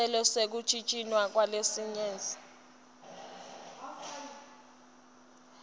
sicelo sekuntjintjwa kwelayisensi